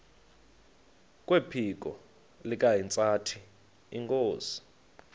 kwephiko likahintsathi inkosi